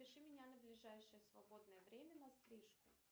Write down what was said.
запиши меня на ближайшее свободное время на стрижку